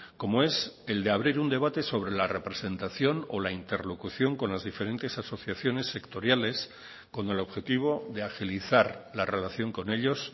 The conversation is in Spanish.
como es el de abrir un debate sobre la representación o la interlocución con las diferentes asociaciones sectoriales con el objetivo de agilizar la relación con ellos